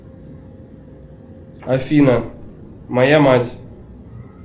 афина моя мать